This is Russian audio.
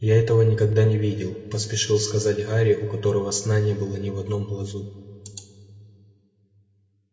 я этого никогда не видел поспешил сказать гарри у которого сна не было ни в одном глазу